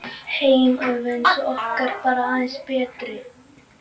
Heim alveg eins og okkar, bara aðeins betri?